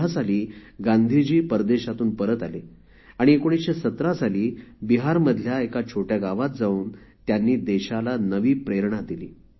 १९१५ साली गांधीजी परदेशातून परत आले आणि १९१७ साली बिहारमधल्या एका छोट्या गावात जाऊन त्यांनी देशाला नवी प्रेरणा दिली